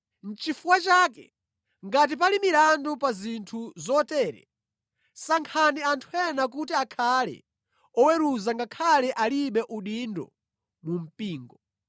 Nʼchifukwa chake, ngati pali milandu pa zinthu zotere, sankhani anthu ena kuti akhale oweruza ngakhale alibe udindo mu mpingo.